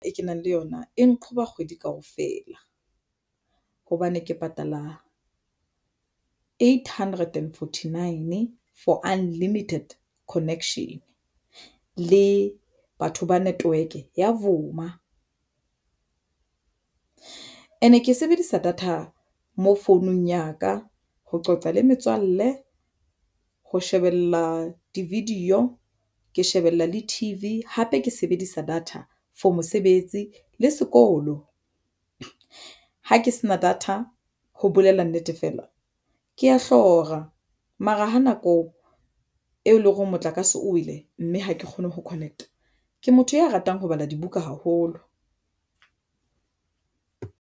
E kenang le yona e nqhoba kgwedi kaofela, hobane ke patala eight hundred and forty nine for unlimited connection le batho ba network ya vuma and-e ke sebedisa data mo founung ya ka ho qoqa le metswalle ho shebella di-video ke shebella le T_V hape ke sebedisa data for mosebetsi le sekolo ha ke sena data ho bolela nnete, fela ke a hlora mara ha nako e leng hore motlakase o wele, mme ha ke kgone ho connect-a ke motho ya ratang ho bala dibuka haholo.